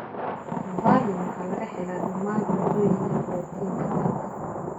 Valine waxaa laga helaa dhammaan cuntooyinka borotiinka leh.